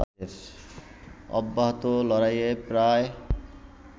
অব্যাহত লড়াইয়ে প্রায়